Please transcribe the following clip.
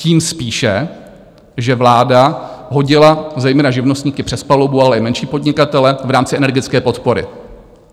Tím spíše, že vláda hodila zejména živnostníky přes palubu, ale i menší podnikatele v rámci energetické podpory.